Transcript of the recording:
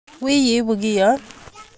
Wiil ibu kiyon